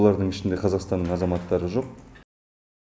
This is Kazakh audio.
олардың ішінде қазақстанның азаматтары жоқ